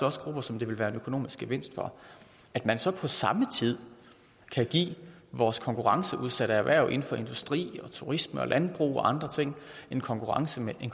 også grupper som det vil være en økonomisk gevinst for at man så på samme tid kan give vores konkurrenceudsatte erhverv inden for industri turisme landbrug og andre ting en konkurrencemæssig